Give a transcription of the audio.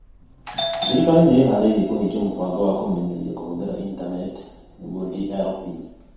Thirikari nĩ ĩĩhaarĩirie kũhingia Mũbango wa Kũmenyeria Kũhũthĩra Intaneti (DLP).